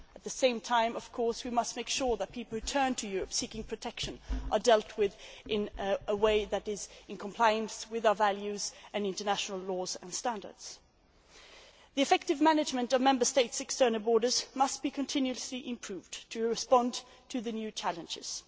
At the same time, of course, we must make sure that people who turn to Europe seeking protection are dealt with in a way that is in compliance with our values and with international laws and standards. The effective management of Member States' external borders must be continuously improved to respond to the new challenges.